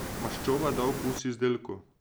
Maščoba da okus izdelku.